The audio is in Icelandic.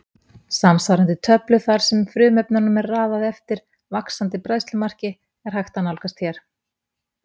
Samsvarandi töflu þar sem frumefnunum er raðað eftir vaxandi bræðslumarki er hægt að nálgast hér.